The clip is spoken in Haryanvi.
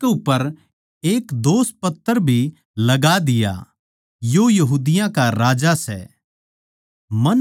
अर उसकै उप्पर एक दोषपत्र भी लगा दिया यो यहूदिया का राजा सै